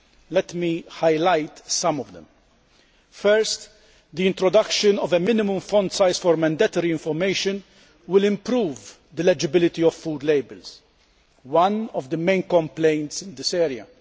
Let me highlight some of them firstly, the introduction of a minimum font size for mandatory information will improve the legibility of food labels one of the main complaints in this area.